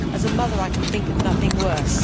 As a mother, I can think of nothing worse.